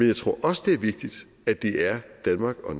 jeg tror også det er vigtigt at det er danmark og